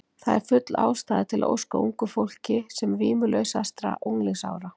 Það er því full ástæða til að óska ungu fólki sem vímulausastra unglingsára.